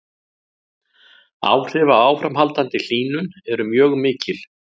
Áhrif af áframhaldandi hlýnun eru mjög mikil.